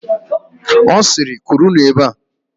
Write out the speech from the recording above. Ọ sịrị, "kwụrụnụ ebe a"!